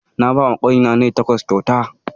Na bawa ƙani na nai takwas kyauta